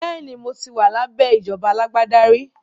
Bẹ́ẹ̀ni, mo ti wà lábẹ́ ìjọba alágbádá rí